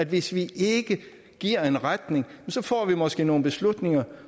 hvis vi ikke giver en retning får vi måske nogle beslutninger